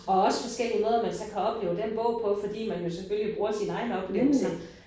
Og også forskellige måder man så kan opleve den bog fordi man jo selvfølgelig bruger sine egne oplevelser